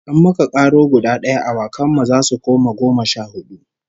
In muka karo guda d'aya, awakan mu zasu koma goma sha hudu